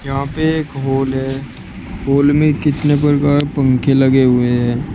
यहां पे एक हॉल है हॉल में कितने प्रकार पंखे लगे हुए हैं।